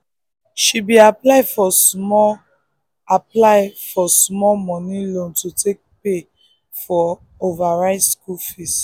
she bee aply for small aply for small money school loan to take pay for her over rise fees